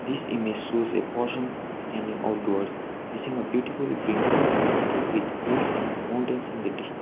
this image shows a person standing outwards facing a beautiful green landscape with hills and mountains in the distan --